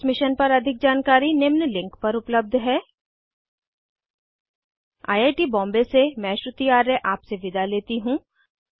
इस मिशन पर अधिक जानकारी निम्न लिंक पर उपलब्ध है httpspoken tutorialorgNMEICT Intro I I T Bombay से मैं श्रुति आर्य आपसे विदा लेती हूँ